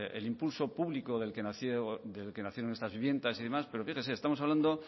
perdón el impulso público del que nacieron estas viviendas y demás pero fíjese estamos hablando